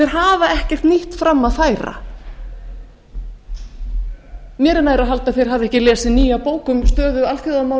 hafa ekkert nýtt fram að færa mér er nær að halda að þeir hafi ekki lesið nýja bók um stöðu